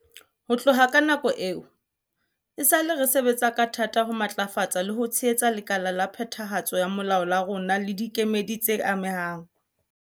Ho tloha ka nako eo, esale re sebetsa ka thata ho matlafatsa le ho tshehetsa lekala la phethahatso ya molao la rona le dikemedi tse amehang.